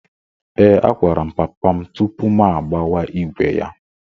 Ee, agwara m papa m tupu m agbawa ígwè ya.